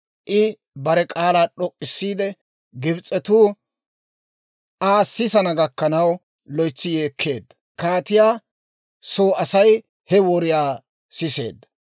I bare k'aalaa d'ok'k'isiide, Gibs'etuu Aa sisana gakkanaw loytsi yeekkeedda. Kaatiyaa soo Asay he woriyaa siseedda.